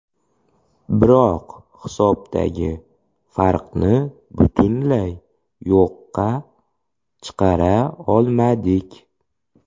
Biroq hisobdagi farqni butunlay yo‘qqa chiqara olmadik.